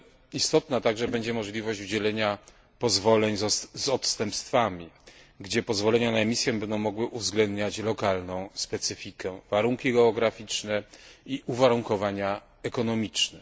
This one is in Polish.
Istotna także będzie możliwość udzielenia pozwoleń z odstępstwami, gdzie pozwolenia na emisję będą mogły uwzględniać lokalną specyfikę, warunki geograficzne i uwarunkowania ekonomiczne.